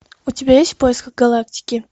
у тебя есть в поисках галактики